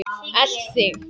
Elt þig?